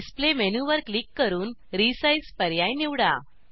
display मेनूवर click करून resize पर्याय निवडा